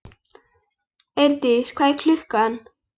Eirdís, hvað er klukkan?